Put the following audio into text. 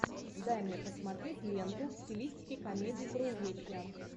дай мне посмотреть ленту в стилистике комедий про увечья